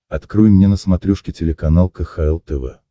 открой мне на смотрешке телеканал кхл тв